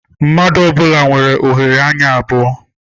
Mmadụ ọ bụla nwere oghere anya abụọ.